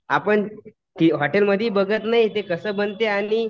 आपण ती हॉटेलमध्ये ही बघत नाही ते कसं बनतं आणि